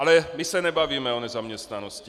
Ale my se nebavíme o nezaměstnanosti.